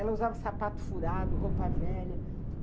Ela usava sapato furado, roupa velha.